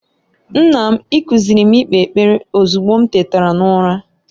Nna m, I kuziiri m ikpe ekpere ozugbo m tetara n'ụra.